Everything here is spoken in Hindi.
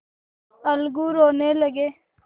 अलगू रोने लगे